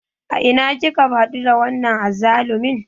A ina kika haɗu da wannan azzalumin?